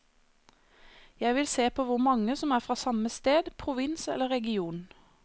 Jeg vil se på hvor mange som er fra samme sted, provins eller region.